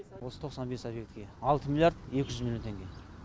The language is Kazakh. осы тоқсан бес объектіге алты миллиард екі жүз миллион теңге